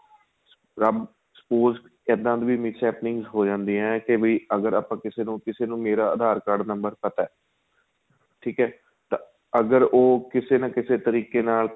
spouse ਇਹਦਾ ਦੀ mishaping s ਹੋ ਜਾਂਦੀ ਏ ਕੇ ਵੀ ਅਗਰ ਆਪਾਂ ਕਿਸੇ ਨੂੰ ਕਿਸੇ ਨੂੰ ਮੇਰਾ aadhar card number ਪਤਾ ਏ ਠੀਕ ਏ ਤਾਂ ਅਗਰ ਉਹ ਕਿਸੇ ਨਾ ਕਿਸੇ ਤਰੀਕੇ ਨਾਲ